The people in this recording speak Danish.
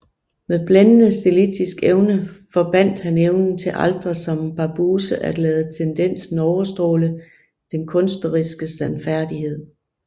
Med blændende stilistisk evne forbandt han evnen til aldrig som Barbusse at lade tendensen overstråle den kunstneriske sandfærdighed